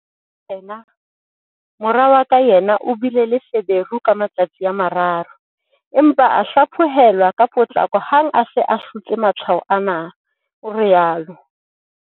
Mora wa ka yena o bile le feberu ka matsatsi a mararo, empa a hlaphohelwa ka potlako hang ha a se a hlotse matshwao ana, o rialo.